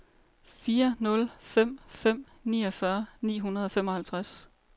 fire nul fem fem niogfyrre ni hundrede og femoghalvtreds